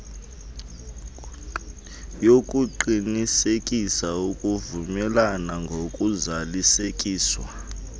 yokuqinisekisa ukuvumelana ngokuzalisekiswa